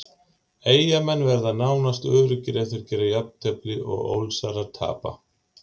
Eyjamenn verða nánast öruggir ef þeir gera jafntefli og Ólsarar tapa.